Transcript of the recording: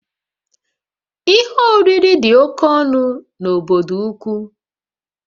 Ihe oriri dị oke ọnụ n'obodo ukwu